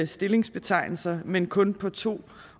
stillingsbetegnelser men kun på to